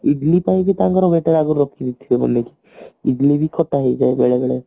ଇଡିଲି ପାଇଁକି ତାଙ୍କର ଗୋଟେ ରଖିଦେଇଥିବେ ହେଲାକି ଇଡିଲି ବି ଖଟା ହେଇଯାଏ ବେଳେବେଳ